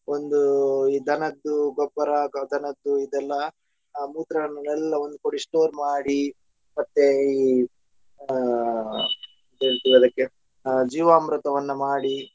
ಒಂದು ಈ ದನದ್ದು ಗೊಬ್ಬರ ಅಥವಾ ದನದ್ದು ಇದೆಲ್ಲಾ ಮೂತ್ರವನೆಲ್ಲ ಒಂದು ಕಡೆ store ಮಾಡಿ ಮತ್ತೆ ಈ ಹಾ ಏನ್ ಆ ಜೀವಾಮೃತವನ್ನ ಮಾಡಿ.